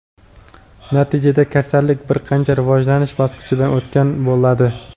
natijada kasallik bir qancha rivojlanish bosqichidan o‘tgan bo‘ladi.